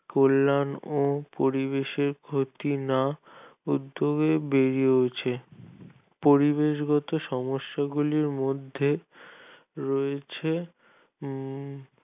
কল্যাণ ও পরিবেশের ক্ষতি না উদ্যোগে বেরিয়েছে পরিবেশগত সমস্যা গুলির মধ্যে রয়েছে